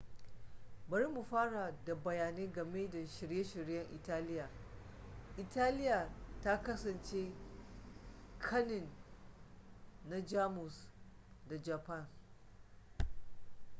bari mu fara da bayani game da shirye-shiryen italiya italiya ta kasance kanin na jamus da japan